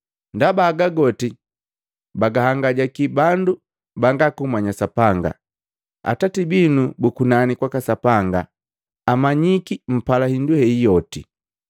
Ndaba haga goti bagahangajaki bandu banga kumanya Sapanga. Atati binu bu kunani kwaka Sapanga amanyiki mpala hindu heyi yote.